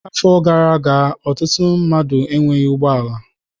Afọ gara aga ọtụtụ mmadụ enweghị ụgbọ ala.